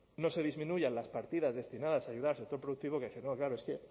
no se disminuyan las partidas destinadas a ayudar al sector productivo quiere decir no claro es que